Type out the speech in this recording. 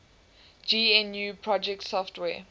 gnu project software